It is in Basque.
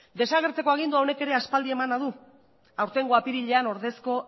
desagertzeko agindua honek ere aspaldi emana du aurtengo apirilean ordezko